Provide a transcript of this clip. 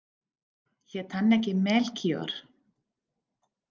Hét hann ekki Melkíor?